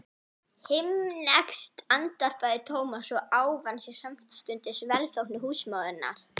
Himneskt andvarpaði Thomas og ávann sér samstundis velþóknun húsmóðurinnar.